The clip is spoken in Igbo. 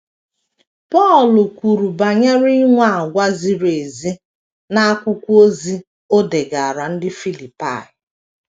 Pọl kwuru banyere inwe àgwà ziri ezi n’akwụkwọ ozi o degaara ndị Filipaị.